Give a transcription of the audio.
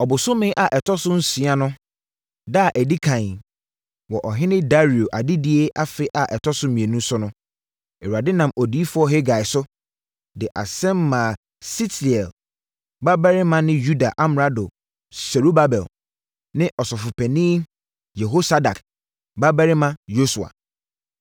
Ɔbosome a ɛtɔ so nsia no da a ɛdi ɛkan wɔ Ɔhene Dario adedie afe a ɛtɔ so mmienu so no, Awurade nam Odiyifoɔ Hagai so, de asɛm maa Sealtiel babarima ne Yuda amrado Serubabel ne Ɔsɔfopanin Yehosadak babarima Yosua.